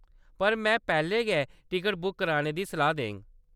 पर में पैह्‌‌‌लै गै टिकट बुक कराने दी सलाह्‌‌ देङ।